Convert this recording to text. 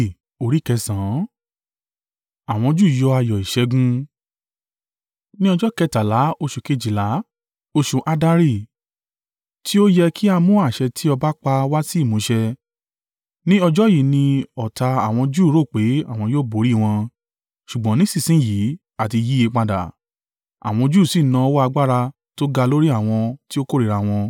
Ní ọjọ́ kẹtàlá oṣù kejìlá, oṣù Addari, tí ó yẹ kí a mú àṣẹ tí ọba pa wá sí ìmúṣẹ. Ní ọjọ́ yìí ni ọ̀tá àwọn Júù rò pé àwọn yóò borí i wọn, ṣùgbọ́n nísinsin yìí a ti yìí padà, àwọn Júù sì na ọwọ́ agbára tó ga lórí àwọn tí ó kórìíra wọn.